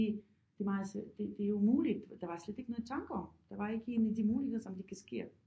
Det det meget det det er umuligt der var slet ikke noget tanke om der var ikke en af de muligheder som de kan ske og